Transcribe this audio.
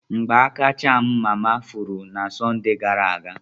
Ngbaaka cham mama furu na Sọnde gara aga.